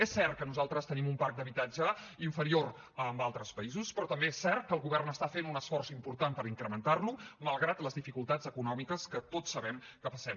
és cert que nosaltres tenim un parc d’habitatge inferior a altres països però també és cert que el govern està fent un esforç important per incrementar lo malgrat les dificultats econòmiques que tots sabem que passem